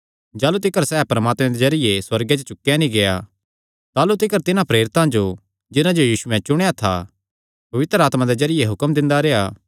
जाह़लू तिकर सैह़ परमात्मे दे जरिये सुअर्गे च चुकेया नीं गेआ ताह़लू तिकर तिन्हां प्रेरितां जो जिन्हां जो यीशुयैं चुणेया था पवित्र आत्मा दे जरिये हुक्म दिंदा रेह्आ